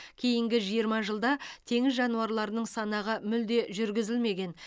кейінгі жиырма жылда теңіз жануарларының санағы мүлде жүргізілмеген